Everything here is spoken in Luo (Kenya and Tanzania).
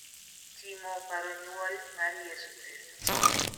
timo paro nyuol mar Yesu Kristo.